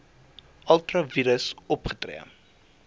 ultra vires opgetree